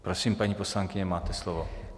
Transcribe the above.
Prosím, paní poslankyně, máte slovo.